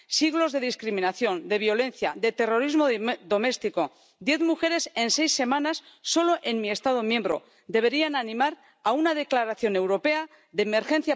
Siglos de discriminación, de violencia, de terrorismo doméstico —diez mujeres en seis semanas, solo en mi Estado miembro— deberían animar a una declaración europea de emergencia por la igualdad.